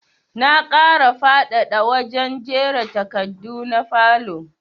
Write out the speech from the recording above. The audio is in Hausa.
Na ƙara faɗaɗ a wajen jera takardu na falow